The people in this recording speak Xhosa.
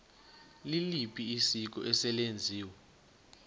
liliphi isiko eselenziwe